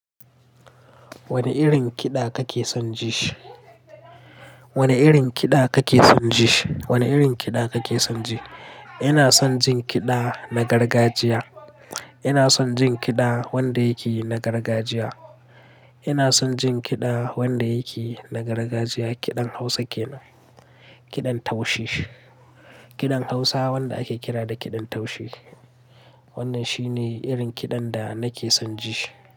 Wani irin kiɗa kake son ji? Wani irin kiɗa kake son ji? Wane irin kiɗa kake son ji? Ina son jin kiɗa na gargajiya. Ina son jin kiɗa wanda yake na gargajiya. Ina son jin kiɗa wanda yake na gargajiya, kiɗan Hausa kenan, kiɗan taushe. Kiɗan Hausa wanda ake kira da kiɗan taushe. Wannan shi ne irin kiɗan da nake son ji.